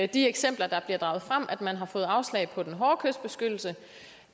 de eksempler der bliver draget frem nemlig at man har fået afslag på den hårde kystbeskyttelse